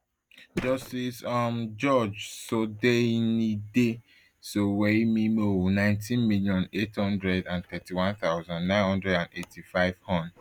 justice um george sodeinde sowemimo nineteen million, eight hundred and thirty-one thousand, nine hundred and eighty-five hon